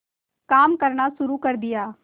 काम करना शुरू कर दिया